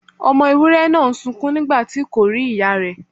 Ọmọ ewúré náà ń sunkún nígbàtí kò rí ìyá rè.